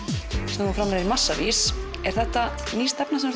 sem þú framleiðir í massavís er þetta ný stefna sem